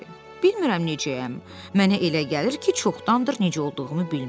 Bilmirəm necəyəm, mənə elə gəlir ki, çoxdandır necə olduğumu bilmirəm.